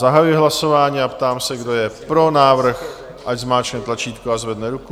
Zahajuji hlasování a ptám se, kdo je pro návrh, ať stiskne tlačítko a zvedne ruku.